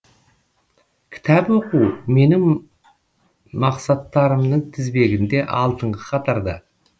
кітап оқу менің мақсаттарымның тізбегінде алдыңғы қатарда